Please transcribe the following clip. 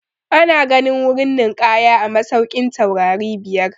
Ana ganin wurin ninƙaya a masaukin taurari biyar.